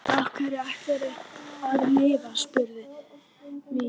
Á hverju ætlarðu að lifa? spurði Milla.